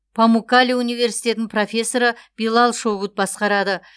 памуккале университетінің профессоры билал шогут басқарады